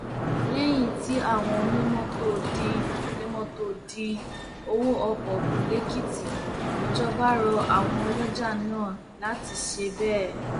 lẹyìn tí àwọn onímọtò dín onímọtò dín owó ọkọ kù lèkìtì ìjọba rọ àwọn ọlọjà náà láti ṣe bẹẹ